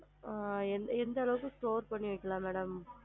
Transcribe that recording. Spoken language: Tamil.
ஆ எந்த எந்த அளவுக்கு store பண்ணி வைக்கலாம் madam